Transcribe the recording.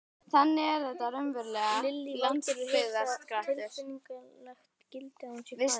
Lillý Valgerður: Hefur það tilfinningalegt gildi að hún sé farin?